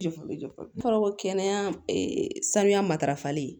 N kɔrɔ ko kɛnɛya saniya matarafali